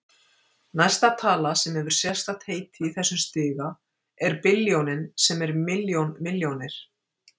Næsta tala sem hefur sérstakt heiti í þessum stiga er billjónin sem er milljón milljónir.